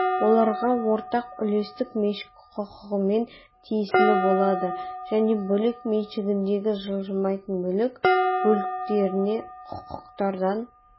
оларға ортақ үлестік меншік құқығымен тиесілі болады және бөлек меншігіндегі жылжымайтын мүлік бөліктеріне құқықтардан